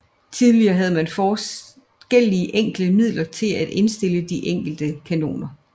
Tidligere havde man forskellige enkle midler til at indstille de enkelte kanoner